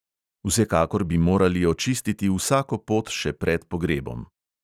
Vsekakor bi morali očistiti vsako pot še pred pogrebom.